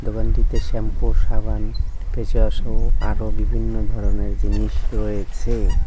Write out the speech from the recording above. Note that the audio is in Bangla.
দোকানটিতে শ্যাম্পু সাবান ফেসওয়াশ সহ আরও বিভিন্ন ধরনের জিনিস রয়েছে।